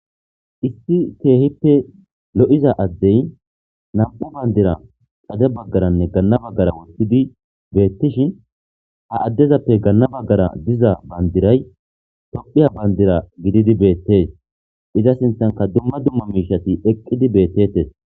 Issi keehippe lo7iza addey nam7u bandira qade baggaranne ganna baggara wustidi beettishin ha addezappe ganna baggara diza bandiray tophiya bandira gididi beettees iza sinthanka dumma dumma miishati eqqidi beettetes.